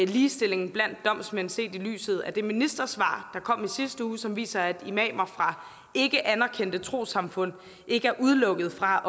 ligestillingen blandt domsmænd set i lyset af det ministersvar der kom i sidste uge som viser at imamer fra ikkeanerkendte trossamfund ikke er udelukket fra